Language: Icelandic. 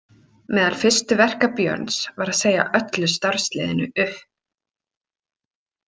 Meðal fyrstu verka Björns var að segja öllu starfsliðinu upp.